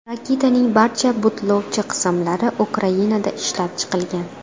Raketaning barcha butlovchi qismlari Ukrainada ishlab chiqilgan.